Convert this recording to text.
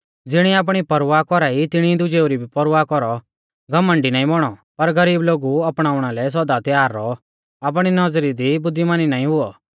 ज़िणी आपणी परवाह कौरा ई तिणी दुजेऊ री भी परवाह कौरौ घमण्डी नाईं बौणौ पर गरीब लोगु अपणाउणा लै सौदा त्यार रौऔ आपणी नौज़री दी बुद्धिमानी नाईं हुऔ